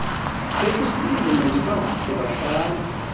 sekusile mandibavuse bahlambe